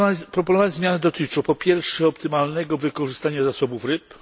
Proponowane zmiany dotyczą po pierwsze optymalnego wykorzystania zasobów ryb